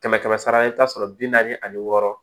Kɛmɛ kɛmɛ sara i bɛ taa sɔrɔ bi naani ani wɔɔrɔ